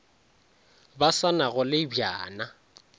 ba sa nago le bjana